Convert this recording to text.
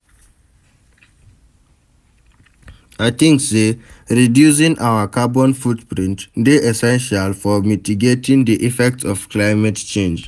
I think say reducing our carbon footprint dey essential for mitigating di effects of climate change.